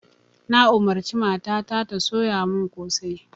Na umarci mata ta ta soya mun kosai